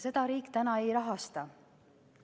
Seda riik ei rahasta.